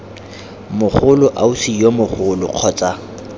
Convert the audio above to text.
mogolo ausi yo mogolo kgotsa